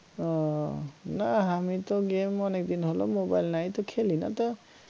ও না আমি তো game অনেকদিন হল mobile নাই তো খেলি না তো